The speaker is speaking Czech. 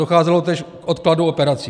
Docházelo též k odkladu operací.